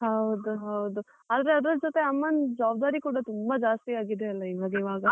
ಹೌದು ಹೌದು, ಆದ್ರೆ ಅದ್ರ್ ಜೊತೆ ಅಮ್ಮನ್ ಜವಾಬ್ದಾರಿ ಕೂಡ ತುಂಬಾ ಜಾಸ್ತಿ ಆಗಿದೆ ಅಲ್ಲ ಇವಾಗ್ ಇವಾಗ.